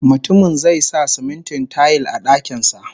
Mutumin zai sa simintin tayil a dakin sa